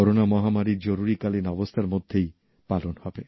corona মহামারীর জরুরীকালীন অবস্থার মধ্যেই পালন হবে